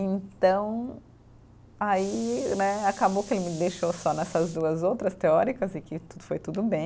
Então, aí né acabou que ele me deixou só nessas duas outras teóricas e que foi tudo bem.